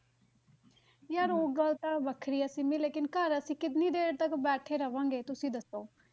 ਯਾਰ ਉਹ ਗੱਲ ਤਾਂ ਵੱਖਰੀ ਹੈ ਸਿੰਮੀ ਲੇਕਿੰਨ ਘਰ ਅਸੀਂ ਕਿੰਨੀ ਦੇਰ ਤੱਕ ਬੈਠੇ ਰਹਾਂਗਾ ਤੁਸੀਂ ਦੱਸੋ।